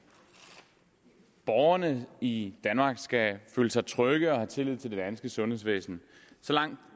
borgerne i danmark skal føle sig trygge og have tillid til det danske sundhedsvæsen så langt